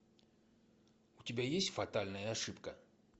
у тебя есть фатальная ошибка